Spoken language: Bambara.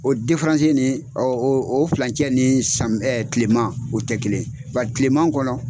O diferansi nin ɔ o o filancɛ ni sami ɛ kileman o te kelen ye bari kileman kɔnɔ